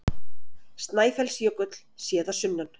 Snæfellsjökull, séð að sunnan.